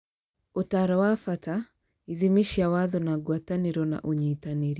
Ũtaaro wa bata, ithimi cia watho na ngwatanĩro na ũnyitanĩri.